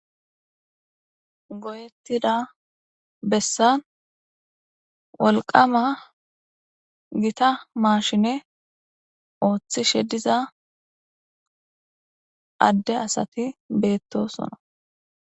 Goyettida bessan wolqama gita maashine ooththishe diza adde asati beettosona.